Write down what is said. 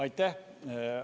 Aitäh!